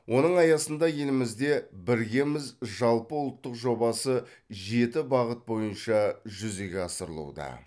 оның аясында елімізде біргеміз жалпыұлттық жобасы жеті бағыт бойынша жүзеге асырылуда